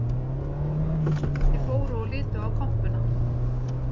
Þeir fóru og litu á kompuna